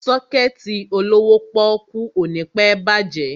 Sọ́kẹ̀tì olówó pọ́ọ́kú ò ní pẹ́ bàjẹ́.